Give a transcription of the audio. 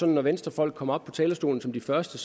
når venstrefolk kom op på talerstolen som de første